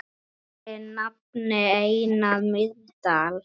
Þinn nafni, Einar Mýrdal.